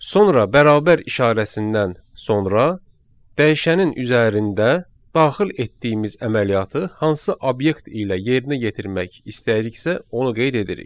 Sonra bərabər işarəsindən sonra dəyişənin üzərində daxil etdiyimiz əməliyyatı hansı obyekt ilə yerinə yetirmək istəyiriksə, onu qeyd edirik.